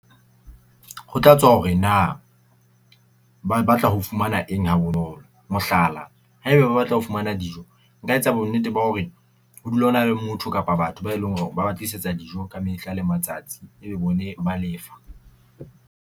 Ho tla tswa hore na ba batla ho fumana eng ha bonolo. Mohlala, haebe ba batla ho fumana dijo, nka etsa bonnete ba hore ho dula ho na le motho kapa batho ba e leng hore ba ba tlisetsa dijo ka mehla le matsatsi. E be bone ba lefa.